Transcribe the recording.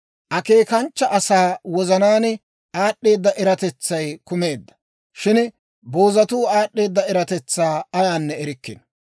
Akeekanchcha asaa wozanaan aad'd'eeda eratetsay kumeedda; shin boozatuu aad'd'eeda eratetsaa ayaanne erikkino.